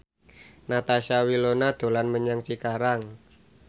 Natasha Wilona dolan menyang Cikarang